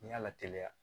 N'i y'a lateliya